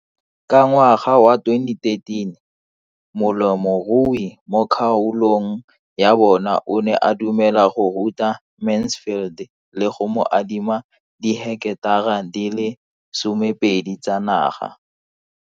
Ka ngwaga wa 2013, molemirui mo kgaolong ya bona o ne a dumela go ruta Mansfield le go mo adima di heketara di le 12 tsa naga.